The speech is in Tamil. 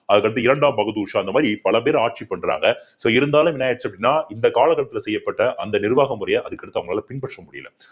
அதுக்கடுத்து இரண்டாம் பகதூர் ஷா இந்த மாதிரி பல பேர் ஆட்சி பண்றாங்க so இருந்தாலும் என்ன ஆயிடுச்சு அப்படின்னா இந்த கால கட்டத்துல செய்யப்பட்ட அந்த நிர்வாக முறைய அதுக்கடுத்து அவங்களால பின்பற்ற முடியல